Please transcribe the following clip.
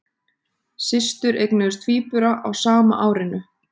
Systur eignuðust tvíbura á sama árinu